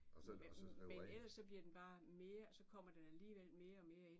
Men ellers så bliver den bare mere så kommer den alligevel mere og mere ind